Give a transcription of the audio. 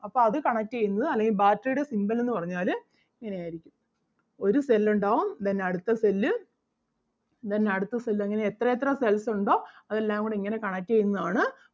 അപ്പം അത് connect ചെയ്യുന്നത് അല്ലെങ്കിൽ battery ടെ symbol എന്ന് പറഞ്ഞാല് ഇങ്ങനെ ആരിക്കും. ഒരു cell ഒണ്ടാവും then അടുത്ത cell അഹ് then അടുത്ത cell അങ്ങനെ എത്ര എത്ര cells ഒണ്ടോ അതെല്ലാം കൂടെ ഇങ്ങനെ connect ചെയ്യുന്നത് ആണ്.